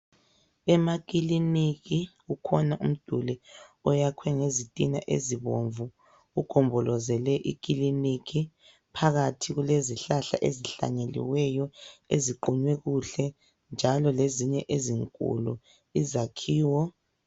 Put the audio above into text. Emakiliniki kukhona umduli oyakhwe ngezitina ezibomvu, ugombolozele iklinikhi. Phakathi kulezihlahla ezihlanyeliweyo eziqunywe kuhle njalo lezinye ezinkulu. Izakhiwo ...